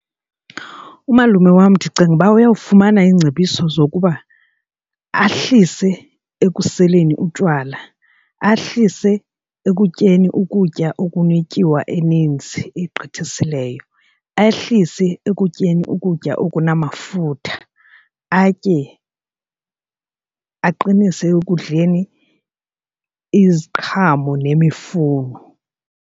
Umalume wam ndicinga uba uyawufumana iingcebiso zokuba ahlise ekuseleni utywala, ahlise ekutyeni ukutya okunetyiwa eninzi egqithisileyo, ahlise ekutyeni ukutya okunamafutha atye aqinise ekudleni iziqhamo nemifuno.